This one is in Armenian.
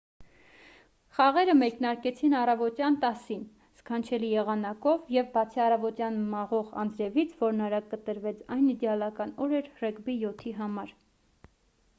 խաղերը մեկնարկեցին առավոտյան 10:00-ին սքանչելի եղանակով և բացի առավոտյան մաղող անձրևից որն արագ կտրվեց այն իդեալական օր էր ռեգբի 7-ի համար: